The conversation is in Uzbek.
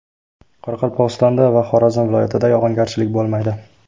Qoraqalpog‘istonda va Xorazm viloyatida yog‘ingarchilik bo‘lmaydi.